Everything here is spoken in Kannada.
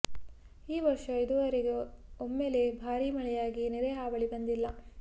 ಈ ವರ್ಷ ಇದುವರೆಗೆ ಒಮ್ಮೆಲೆ ಭಾರಿ ಮಳೆಯಾಗಿ ನೆರೆ ಹಾವಳಿ ಬಂದಿಲ್ಲ